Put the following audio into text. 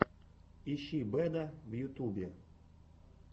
ищи бэда в ютубе